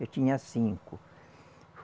Eu tinha cinco.